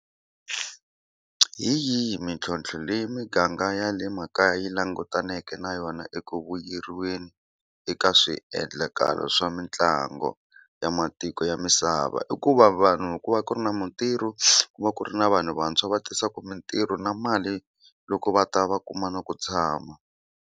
Hi yihi mintlhlontlho leyi miganga ya le makaya yi langutaneke na yona eku vuyeriweni eka swiendlakalo swa mitlangu ya matiko ya misava? I ku va vanhu ku va ku ri na mintirho ku va ku ri na vanhu vantshwa va tisaka mintirho na mali loko va ta va kuma na ku tshama.